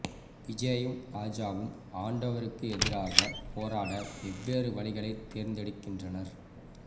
விஜயும் ராஜாவும் ஆண்டவருக்கு எதிராக போராட வெவ்வேறு வழிகளை தேர்ந்தெடுக்கின்றனர்